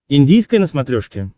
индийское на смотрешке